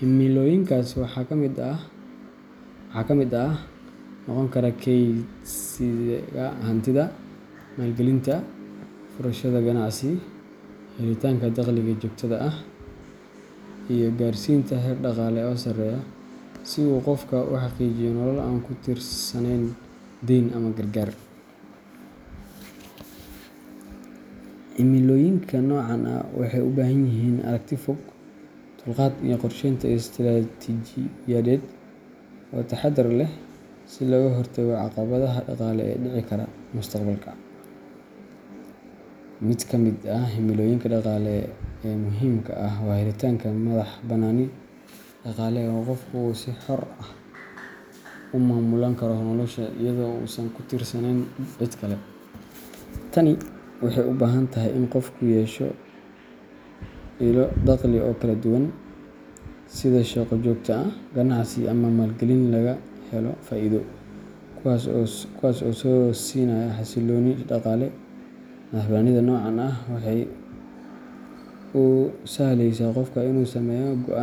Himilooyinkaas waxaa ka mid noqon kara kaydsiga hantida, maalgelinta, furashada ganacsi, helitaanka dakhliga joogtada ah, iyo gaarsiinta heer dhaqaale oo sareeya si uu qofku u xaqiijiyo nolol aan ku tiirsanayn deyn ama gargaar. Himilooyinka noocan ah waxay u baahan yihiin aragti fog, dulqaad, iyo qorsheynta istiraatiijiyadeed oo taxaddar leh si looga hortago caqabadaha dhaqaalaha ee dhici kara mustaqbalka. Mid ka mid ah himilooyinka dhaqaale ee muhiimka ah waa helitaanka madax-bannaani dhaqaale oo qofku uu si xor ah u maamulan karo noloshiisa iyada oo uusan ku tiirsanayn cid kale. Tani waxay u baahan tahay in qofku yeesho ilo dakhli oo kala duwan sida shaqo joogto ah, ganacsi, ama maalgelin laga helo faa’iido kuwaas oo siinaya xasillooni dhaqaale. Madax-bannaanida noocan ah waxay u sahlaysaa qofka inuu sameeyo go’aan.